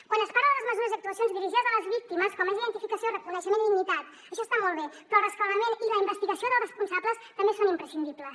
quan es parla de les mesures i actuacions dirigides a les víctimes com és identificació reconeixement i dignitat això està molt bé però el rescabalament i la investigació dels responsables també són imprescindibles